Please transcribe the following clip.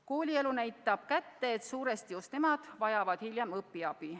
Koolielu näitab kätte, et suuresti just nemad vajavad hiljem õpiabi.